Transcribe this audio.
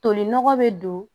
Tolinɔgɔ bɛ don